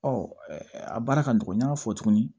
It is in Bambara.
Ɔ a baara ka nɔgɔn n y'a fɔ tuguni